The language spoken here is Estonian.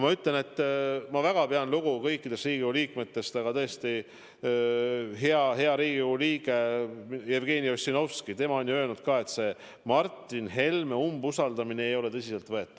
Ma ütlen, et ma väga pean lugu kõikidest Riigikogu liikmetest, aga samas ka hea Riigikogu liige Jevgeni Ossinovski on ju öelnud, et see Martin Helme umbusaldamine ei ole tõsiseltvõetav.